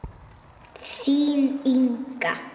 Þín, Inga.